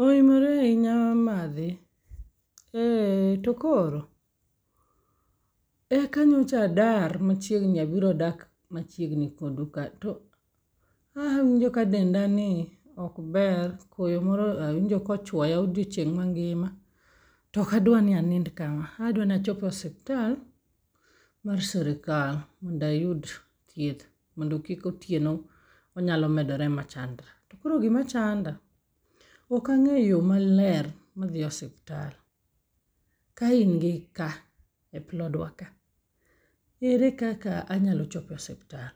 Oimore ahinya madhe, e to koro, eka nyocha adar machiegni abiro dak machiegni kodu ka. To awinjo ka denda ni ok ber, koyo moro awinjo ka ochwoya odiochieng' mangima. Tokadwa ni anind kaka, adwanachop e osiptal mar sirikal mondayud thieth. Mondo kik otieno onyalo medore machandra. To koro gima chanda, okang'eyo yo maler madhi osiptal, ka in gi ka e plodwa ka, ere kaka anyalo chope osiptal.